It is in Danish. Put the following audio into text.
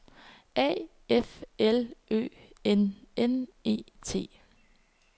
A F L Ø N N E T